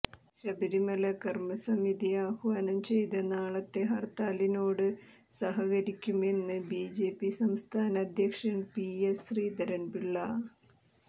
ശബരിമല കര്മസമിതി ആഹ്വാനം ചെയ്ത നാളത്തെ ഹര്ത്താലിനോട് സഹകരിക്കുമെന്ന് ബിജെപി സംസ്ഥാന അധ്യക്ഷന് പിഎസ് ശ്രീധരന്പിള്ള